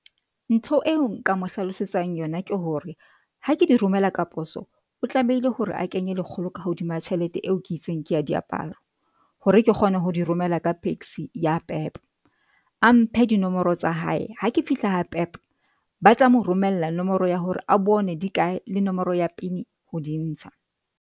Ntho eo nka mo hlalosetsang yona ke hore ha ke di romela ka poso o tlamehile hore a kenye lekgolo ka hodima tjhelete eo ke itseng ke ya diaparo hore ke kgone ho di romela ka Paxi ya Pep a mphe dinomoro tsa hae hake fihla ha Pep ba tla mo romella nomoro ya hore a bone di kae le nomoro ya P_I_N ho di ntsha.